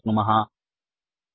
इति वयं दृष्टुं शक्नुमः